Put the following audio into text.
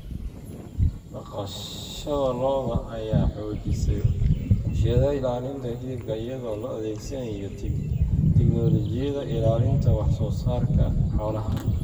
Dhaqashada lo'da lo'da ayaa xoojisay warshadaha ilaalinta hilibka iyadoo la adeegsanayo tignoolajiyada ilaalinta wax soo saarka xoolaha.